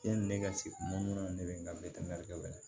Yani ne ka se mun na ne bɛ n ka la